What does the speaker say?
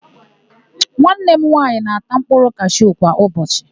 Nwanne m nwaanyị na-ata mkpụrụ kashu kwa ụbọchị.